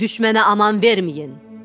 Düşmənə aman verməyin.